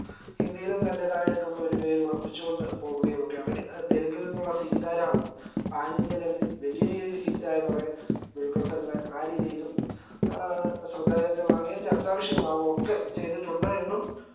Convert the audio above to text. ഹിന്ദിയിലും തന്റെതായിട്ടുള്ള ഒരു പേര് ഉറപ്പിച് കൊണ്ടുപോവുകയൊക്കെയാണ് തെലുങ്കിൽ നിന്നുള്ള സീതാരാമം panindialevel ലിൽ വലിയ രീതിയിൽ hit ആയതോടെ ദുൽഖർ സൽമാൻ ആ രീതിയിലും ഏർ ശ്രേദ്ധകേന്ദ്രമാവുകയും ചർച്ചാവിഷയമാവൊക്കെ ചെയ്‌തിട്ടുണ്ട് എന്നും